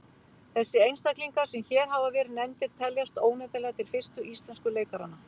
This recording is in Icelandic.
Þessir einstaklingar sem hér hafa verið nefndir teljast óneitanlega til fyrstu íslensku leikaranna.